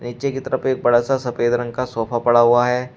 नीचे की तरफ एक बड़ा सा सफेद रंग का सोफा पड़ा हुआ है।